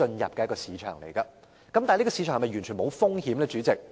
然而，主席，這個行業是否完全零風險？